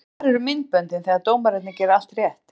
En hvar eru myndböndin þegar dómararnir gera allt rétt?